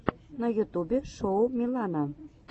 на ютубе шоу милана